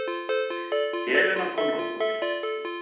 Helena Konráðsdóttir